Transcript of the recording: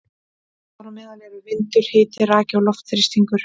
Þar á meðal eru vindur, hiti, raki og loftþrýstingur.